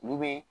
Olu bɛ